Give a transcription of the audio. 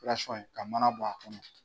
Perasɔn ye ka mana bɔ a kɔnɔ.